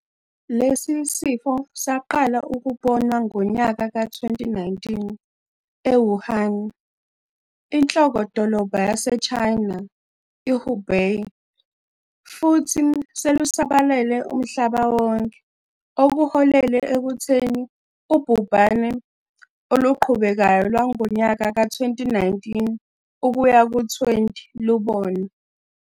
Lesi sifo saqala ukubonwa ngonyaka ka-2019 eWuhan, inhloko-dolobha yaseChina iHubei, futhi selusabalale umhlaba wonke, okuholele ekutheni ubhubhane oluqhubekayo lwangonyaka ka-2019 ukuya ku-20 lubone.